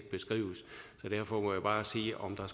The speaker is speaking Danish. beskrives så derfor må jeg bare sige om der